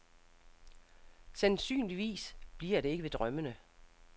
Sandsynligvis bliver det ikke ved drømmene.